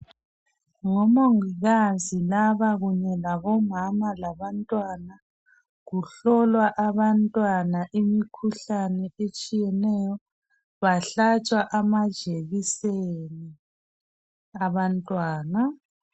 Ngomongikazi laba kunye labomama labantwana. Kuhlolwa abantwana imikhuhlane etshiyeneyo bahlatshwa amajekiseni abantwana.